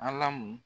Alamu